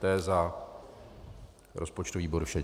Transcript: To je za rozpočtový výbor vše.